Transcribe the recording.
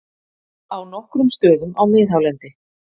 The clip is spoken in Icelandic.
Á nokkrum stöðum á miðhálendi